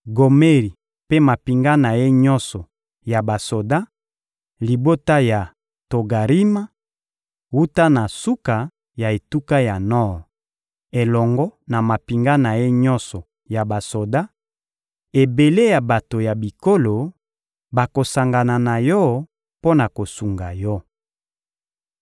Gomeri mpe mampinga na ye nyonso ya basoda; libota ya Togarima, wuta na suka ya etuka ya nor, elongo na mampinga na ye nyonso ya basoda, ebele ya bato ya bikolo, bakosangana na yo mpo na kosunga yo.